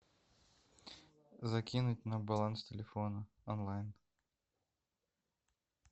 закинуть на баланс телефона онлайн